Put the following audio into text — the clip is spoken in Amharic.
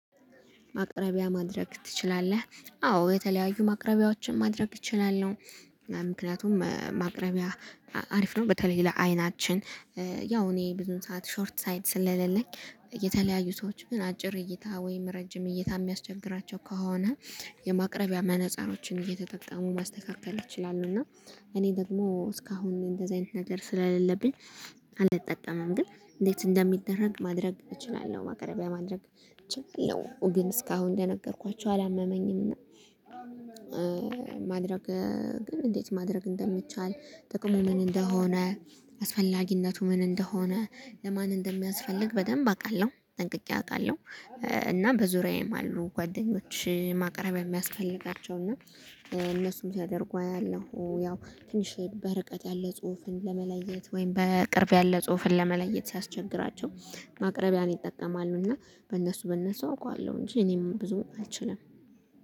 ማቅረቢያ ማድረግ ትችላለህ አዎ የተለያዩ ማቅረቢያዎችን ማድረግ እችላለሁ ምክንያቱም ማቅረቢያ አሪፍ ነው። በተለይ ለአይናችን ያው እኔ ብዙ ሰዓት ሾርት ሳይት ስለሌለኝ የተለያዩ ሰዎች ግን አጭር እይታ ወይም ረጅም እይታ የሚያስቸግራቸው ከሆነ የማቅረቢያ መነጸሮችን እየተጠቀሙ ማስተካከል ይችላሉ። እና እኔ ደግሞ እስካሁን እንደዚህ አይነት ነገር ስለሌለብኝ አልጠቀምም። ግን እንዴት እንደሚደረግ ማድረግ እችላለሁ ማቅረቢያ ማድረግ። እችላለሁ ግን እስካሁን እንደነገርኳቸው አላመመኝም። ማድረግ ግን እንዴት ማድረግ እንደሚቻል? ጥቅሙ ምን እንደሆነ? አስፈላጊነቱ ምን እንደሆነ? ለማን እንደሚያስፈልግ በደንብ አውቃለሁ ጠንቅቄ አውቃለሁ። እና በዙሪያዬም አሉ ጓደኞች ማቅረብያ የሚያስፈልጋቸው እና እነሱም ሲያደርጉ አያለሁ። ያው ትንሽ በርቀት ያለ ጽሁፍን ለመለየት ወይም በቅርብ ያለ ጽሁፍን ለመለየት ሲያስቸግራቸው ማቅረቢያን ይጠቀማሉና በእነሱ በእነሱ አውቀዋለሁ እንጂ እኔም ብዙ አልችልም